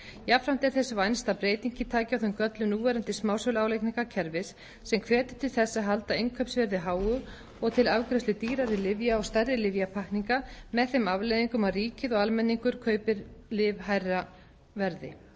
jafnframt er þess vænst að breytingin taki á þeim göllum núverandi smásöluálagningarkerfis sem hvetur til þess að halda innkaupsverði háu og til afgreiðslu dýrari lyfja og stærri lyfjapakkninga með þeim afleiðingum að ríkið og almenningur kaupi lyf hærra verði